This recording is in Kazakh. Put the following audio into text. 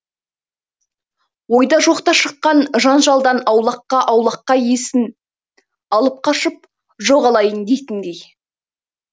ойда жоқта шыққан жанжалдан аулаққа аулаққа иесін алып қашып жоғалайын дейтіндей